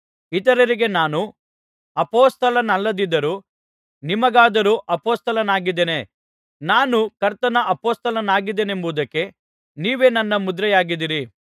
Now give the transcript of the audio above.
ಇತರರಿಗೆ ನಾನು ಅಪೊಸ್ತಲನಲ್ಲದಿದ್ದರೂ ನಿಮಗಾದರೋ ಅಪೊಸ್ತಲನಾಗಿದ್ದೇನೆ ನಾನು ಕರ್ತನ ಅಪೊಸ್ತಲನಾಗಿದ್ದೇನೆಂಬುದಕ್ಕೆ ನೀವೇ ನನ್ನ ಮುದ್ರೆಯಾಗಿದ್ದಿರಿ